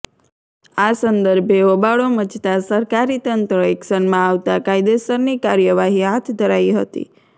આ સંદર્ભે હોબાળો મચતા સરકારી તંત્ર એક્શનમાં આવતા કાયદેસરની કાર્યવાહી હાથ ધરાઈ હતી